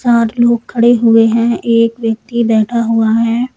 आठ लोग खड़े हुए हैं एक व्यक्ति बैठा हुआ है।